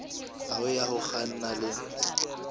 hao ya ho kganna e